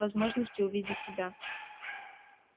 возможности увидеть тебя